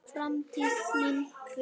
Framtíð mín?